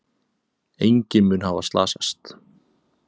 Enginn mun hafa slasast.